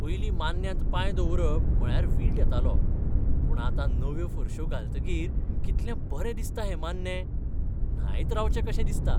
पयलीं मान्न्यांत पांय दवरप म्हळ्यार वीट येतालो. पूण आतां नव्यो फरश्यो घालतकीर कितलें बरें दिसता हें मान्नें. न्हायत रावचें कशें दिसता.